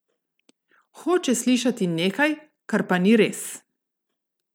Hoče slišati nekaj, kar pa ni res.